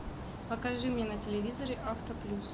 покажи мне на телевизоре авто плюс